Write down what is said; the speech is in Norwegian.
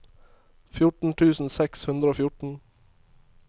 fjorten tusen seks hundre og fjorten